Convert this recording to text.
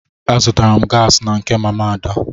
Azụtara m gaasị na nke mama Ada.